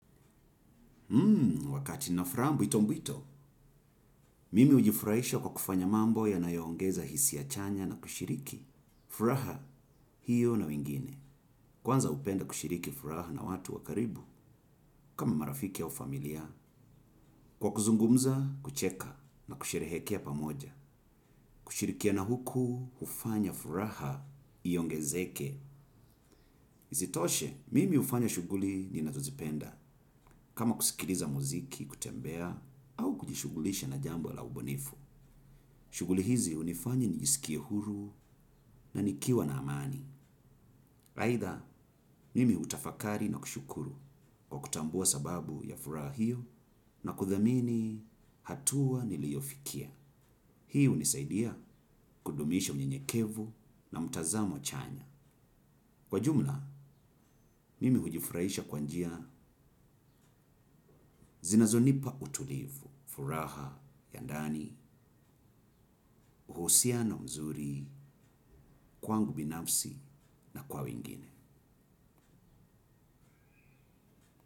Hmm, wakati na furaha mbwito mbwito, mimi hujifurahisha kwa kufanya mambo yanayo ongeza hisia chanya na kushiriki. Furaha, hiyo na wengine. Kwanza hupenda kushiriki furaha na watu wakaribu, kama marafiki au familia. Kwa kuzungumza, kucheka na kusherehekea pamoja. Kushirikiana huku, hufanya furaha, iongezeke. Sitoshe, mimi hufanya shughuli, ninazo zipenda. Kama kusikiliza muziki, kutembea, au kujishughulisha na jambo la ubonefu. Shughuli hizi hunifanya nijisikie huru na nikiwa na amani. Raitha, mimi hutafakari na kushukuru. Kwa kutambua sababu ya furaha hiyo na kuthamini hatua niliofikia. Hii hunisaidia, kudumisha unyenyekevu na mtazamo chanya. Kwa jumla, mimi hujifurahisha kwa njia zinazonipa utulivu, furaha ya ndani uhusiano mzuri, kwangu binafsi, na kwa wingine.